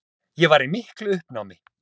Ég var í miklu uppnámi.